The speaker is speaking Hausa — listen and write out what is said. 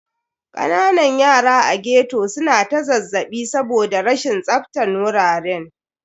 Kananan yara a ghetto su na ta zazzaɓi saboda rashin tsaftan wuraren.